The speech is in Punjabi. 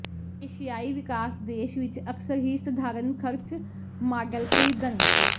ਏਸ਼ੀਆਈ ਵਿਕਾਸ ਦੇਸ਼ ਵਿਚ ਅਕਸਰ ਹੀ ਸਧਾਰਨ ਖਰਚ ਮਾਡਲ ਖਰੀਦਣ